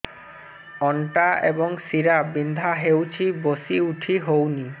ଅଣ୍ଟା ଏବଂ ଶୀରା ବିନ୍ଧା ହେଉଛି ବସି ଉଠି ହଉନି